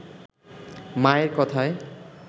মায়ের কথায়